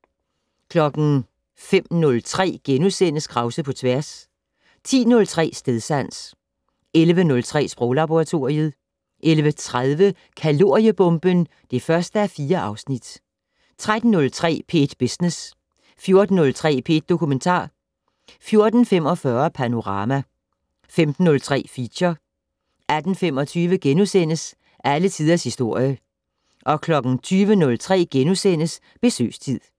05:03: Krause på tværs * 10:03: Stedsans 11:03: Sproglaboratoriet 11:30: Kaloriebomben (1:4) 13:03: P1 Business 14:03: P1 Dokumentar 14:45: Panorama 15:03: Feature 18:25: Alle Tiders Historie * 20:03: Besøgstid *